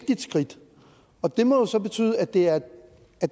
skridt og det må jo så betyde at det er